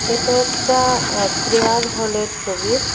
এটা একটা আ প্রেয়ার হলের ছবি।